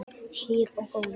Hlýr og góður.